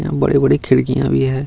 यहाँ बड़ी-बड़ी खिड़कियाँ भी है।